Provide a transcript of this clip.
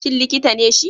Shin likita ne shi?